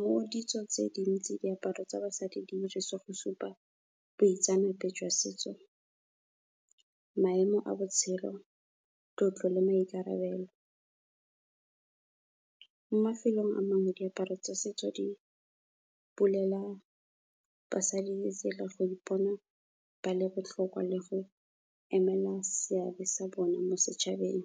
Mo ditsong tse dintsi diaparo tsa basadi di dirisiwa go supa boitseanape jwa setso, maemo a botshelo, tlotlo le maikarabelo. Mo mafelong a mangwe, diaparo tsa setso di bulela basadi ditsela, go ipona ba le botlhokwa, le go emela seabe sa bone mo setšhabeng.